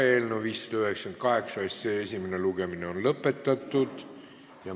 Eelnõu 598 esimene lugemine on lõppenud.